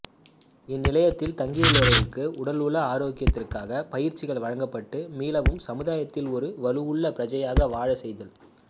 இந்நிலையத்தில் தங்கியுள்ளவர்களுக்கு உடல்உள ஆரோக்கியத்திற்கான பயிற்சிகள் வழங்கப்பட்டு மீளவும் சமுதாயத்தில் ஒரு வலுவுள்ள பிரஜையாக வாழச் செய்தல்